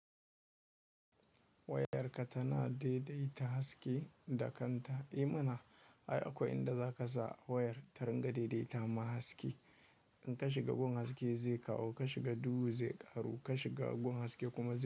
Wayar ka tana daidaita haske da kanta? E mana, ai akwai inda za ka sa wayar ta ringa daidaita ma haske. In ka shiga gun haske zai kawo, ka shiga duhu zai ƙaru, ka shiga gun haske kuma zai.